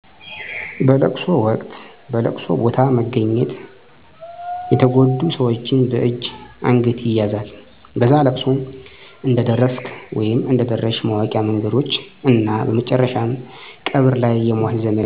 በለቅሶ ወቅት በለቅሶ ቦታ በመገኘት የተጎዱ ሠወችን በእጅ አንገት ይያዛል በዛ እለቅሶ እንደደረስክ/ሽ ማወቂ መንገዶች እና በመጨረሻም ቀብር ላይ የሟች ዘመድ እና ወዳጆቹ በመቃብሩ ላይ አፈር ይረጫሉ (ይህም እርም እንዲወጣ አፈር እርጩ ይባላል) ሀዘን እንዲረሳ ማለት ነው።